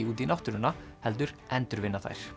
út í náttúruna heldur endurvinna þær